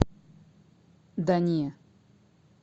да не